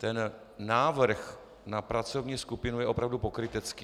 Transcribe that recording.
Ten návrh na pracovní skupinu je opravdu pokrytecký.